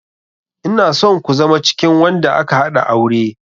Ina son ku zama cikin wanda aka haɗa aure.